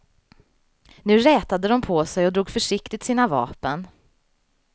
Nu rätade de på sig och drog försiktigt sina vapen.